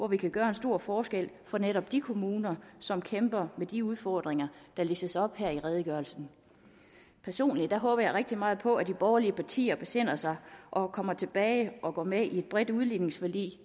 vi kan gøre en stor forskel for netop de kommuner som kæmper med de udfordringer der listes op her i redegørelsen personligt håber jeg rigtig meget på at de borgerlige partier besinder sig og kommer tilbage og går med i et bredt udligningsforlig